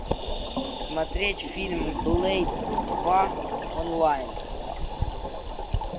смотреть фильм блейд два онлайн